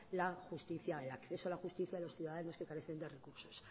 la justicia el acceso a la justicia de los ciudadanos que carecen de recursos